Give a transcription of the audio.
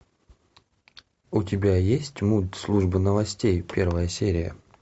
у тебя есть мульт служба новостей первая серия